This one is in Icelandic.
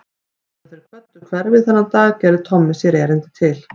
Áður en þeir kvöddu hverfið þennan dag gerði Tommi sér erindi til